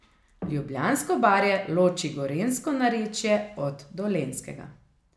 Ljubljansko barje loči gorenjsko narečje od dolenjskega.